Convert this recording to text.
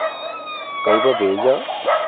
Kaiboo beecho?